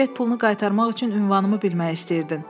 Sən bilet pulunu qaytarmaq üçün ünvanımı bilmək istəyirdin.